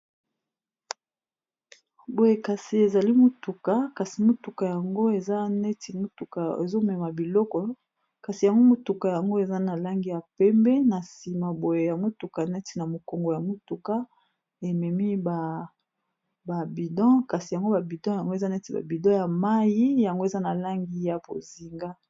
Boye kasi ezali motuka kasi motuka yango eza neti motuka ezomema biloko kasi yango motuka yango eza na langi ya pembe, na nsima boye ya motuka neti na mokongo ya motuka ememi ba babidon kasi yango babidon yango eza neti babidon ya mai yango eza na langi ya bozinga.